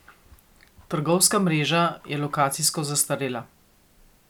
Trgovska mreža je lokacijsko zastarela.